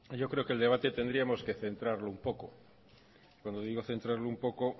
yo creo que el debate tendríamos que centrarlo un poco cuando digo centrarlo un poco